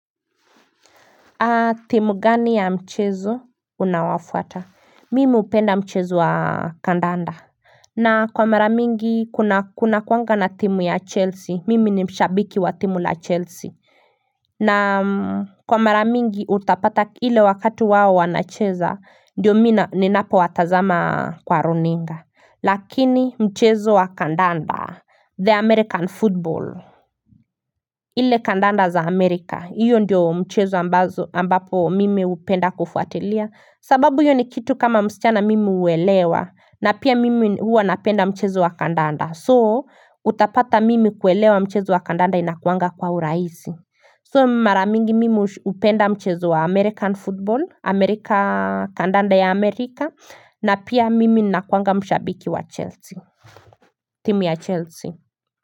Timu gani ya mchezo unaofuata Mimi hupenda mchezo wa kandanda na kwa mara mingi kuna kuna kuanga na timu ya chelsea mimi ni mshabiki wa timu la chelsea na kwa mara mingi utapata ile wakati wao wanacheza ndio mii ninapo watazama kwa runinga Lakini mchezo wa kandanda The american football ile kandanda za Amerika, hiyo ndiyo mchezo ambapo mimi upenda kufuatilia, sababu hiyo ni kitu kama msichana mimi uelewa, na pia mimi huwa napenda mchezo wa kandanda, soo utapata mimi kuelewa mchezo wa kandanda inakuanga kwa uraisi. Soo mara mingi mimi hupenda mchezo wa American football, Amerika kandanda ya Amerika, na pia mimi nakuanga mshabiki wa Chelsea, timu ya Chelsea.